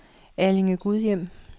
Allinge-Gudhjem